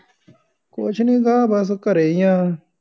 ਕੁੱਛ ਨਹੀ ਗਾ ਬੱਸ ਘਰੇ ਹੀ ਹਾਂ